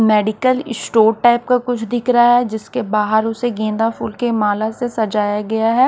Medical store type का कुछ दिख रहा है जिसके बाहर उसे गेंदा फूल के माला से सजाया गया है।